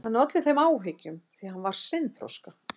Hann olli þeim áhyggjum því að hann var seinþroska.